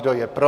Kdo je pro?